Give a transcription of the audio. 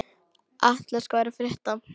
Atlas, hvað er að frétta?